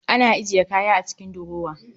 Ana ajiye kaya a cikin durower